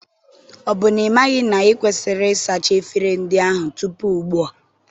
Ọ bụ n'ịmaghị na ikwesịrị ịsacha efere ndị ahụ tupu ugbua?